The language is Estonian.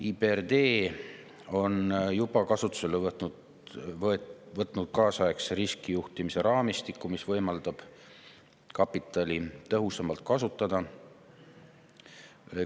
IBRD on juba kasutusele võtnud kaasaegse riskijuhtimise raamistiku, mis võimaldab kapitali tõhusamalt kasutada.